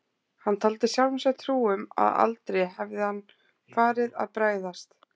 Hann taldi sjálfum sér trú um að aldrei hefði hann farið að bregðast